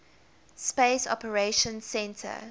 space operations centre